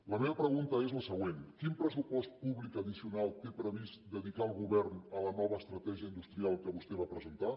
la meva pregunta és la següent quin pressupost públic addicional té previst dedicar el govern a la nova estratègia industrial que vostè va presentar